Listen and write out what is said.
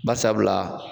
Bari sabula